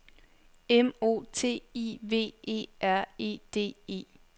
M O T I V E R E D E